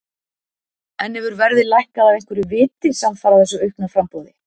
En hefur verðið lækkað af einhverju viti samfara þessu aukna framboði?